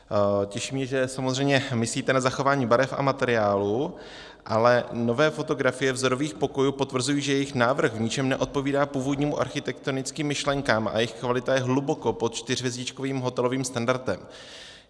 Těší mě, že samozřejmě myslíte na zachování barev a materiálu, ale nové fotografie vzorových pokojů potvrzují, že jejich návrh v ničem neodpovídá původním architektonickým myšlenkám a jejich kvalita je hluboko pod čtyřhvězdičkovým hotelovým standardem.